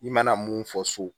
I mana mun fɔ so